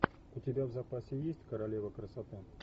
у тебя в запасе есть королева красоты